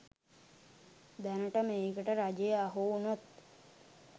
දැනට මේකට රජය අහු උනොත්